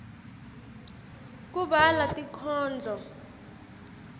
kubhalwa tinkhondlo